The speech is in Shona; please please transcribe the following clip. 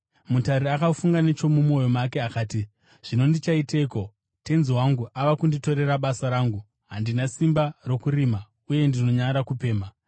“Mutariri akafunga nechomumwoyo make akati, ‘Zvino ndichaiteiko? Tenzi wangu ava kunditorera basa rangu. Handina simba rokurima, uye ndinonyara kupemha;